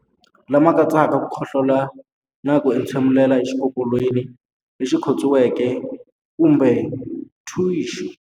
Lama katsaka ku khohlola na ku entshemulela exikokolweni lexi khotsiweke kumbe thixu.